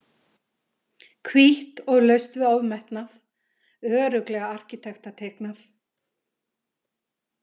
Hvítt og laust við ofmetnað, örugglega arkitektateiknað.